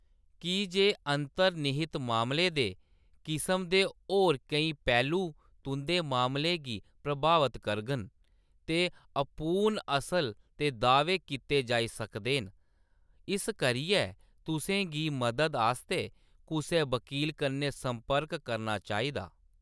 की जे अंतर्निहित मामले दे किसम दे होर केईं पैह्‌‌लू तुंʼदे मामले गी प्रभावत करङन ते अपूर्ण असर दे दाह्‌‌‌वे कीते जाई सकदे न, इस करियै तु'सें गी मदद आस्तै कुसै वकील कन्नै संपर्क करना चाहिदा।